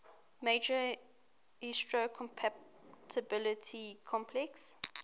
major histocompatibility complex